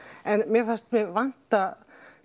en fannst mig vanta